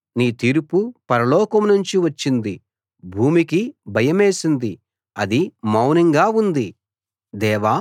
నీ తీర్పు పరలోకం నుంచి వచ్చింది భూమికి భయమేసింది అది మౌనంగా ఉంది